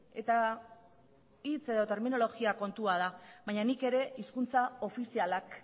eta da hitz edo terminologia kontua da baina nik ere hizkuntza ofizialak